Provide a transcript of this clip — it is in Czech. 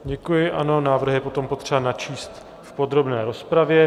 Děkuji, ano, návrh je potom potřeba načíst v podrobné rozpravě.